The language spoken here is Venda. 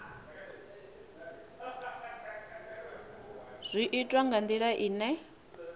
zwi itwa nga ndila ine